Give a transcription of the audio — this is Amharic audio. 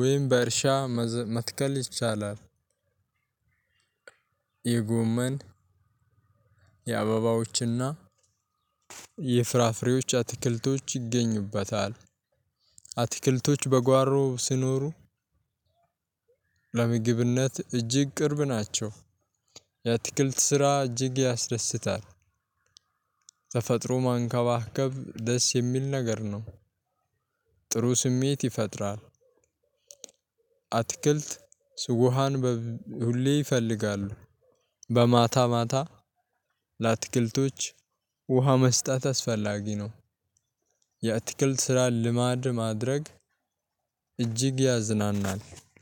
ወይም በእርሻ መትከል ይቻላል። የጎመን የአበባዎችና የፍራፍሬዎች አትክልቶች ይገኙበታል። አትክልቶች በጓሮ ሲኖሩ። ለምግብነት እጅግ ቅርብ ናቸው። የአትክልት ስራ እጅግ ያስደስታል። ተፈጥሮ መንከባከብ ደስ የሚል ነገር ነው። ጥሩ ስሜት ይፈጥራል። አትክልት ውሃን ሁሌ ይፈልጋሉ። በማታ ማታ ለአትክልቶች ውሃ መስጠት አስፈላጊ ነው። የአትክልት ስራን ልማድ ማድረግ እጅግ ያዝናናል።